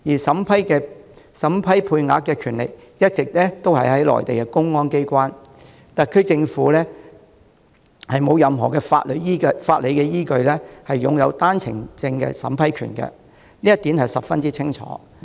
審批配額的權力一直在於內地的公安機關，特區政府無任何法理依據擁有單程證審批權，這一點十分清晰。